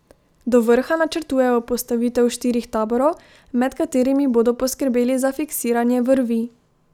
Do vrha načrtujejo postavitev štirih taborov, med katerimi bodo poskrbeli za fiksiranje vrvi.